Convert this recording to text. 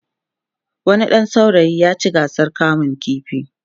wani ɗan saurayi ya ci gasar kamun ƙifi